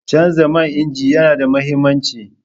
Canza man inji yana da mahimmanci.